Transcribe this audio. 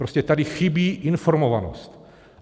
Prostě tady chybí informovanost.